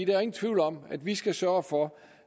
er ingen tvivl om at vi skal sørge for